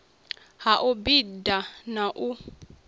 ha u bida na u